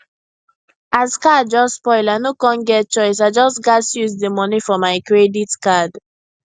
as car just spoil i no con get choice i just gas use di money for my credit card